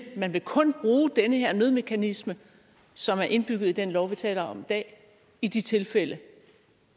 man vil kun bruge den her nødmekanisme som er indbygget i den lov vi taler om i dag i de tilfælde